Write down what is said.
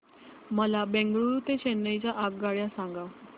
मला बंगळुरू ते चेन्नई च्या आगगाड्या सांगा